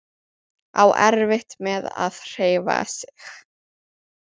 Á erfitt með að hreyfa sig.